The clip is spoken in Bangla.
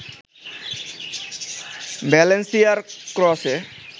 ভ্যালেন্সিয়ার ক্রসে